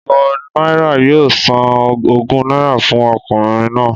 Ìwọ náírà yoo san ogún náírà fun okùnrin nàá